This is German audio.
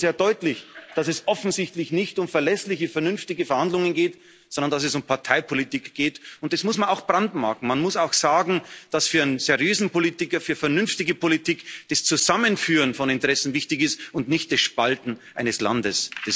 Das zeigt doch schon sehr deutlich, dass es offensichtlich nicht um verlässliche, vernünftige Verhandlungen geht, sondern um Parteipolitik, und das muss man auch brandmarken, man muss auch sagen, dass für einen seriösen Politiker, für vernünftige Politik das Zusammenführen von Interessen wichtig ist und nicht das Spalten eines Landes.